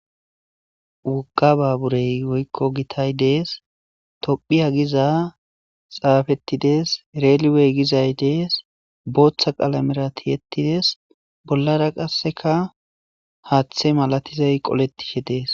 Wogga baabure woykko gitay des tophphiya giza xaafettides reliwey gizay des booththa qalameera tiyetides bollaara qassekka haththe malatiday qoletishe de'ees.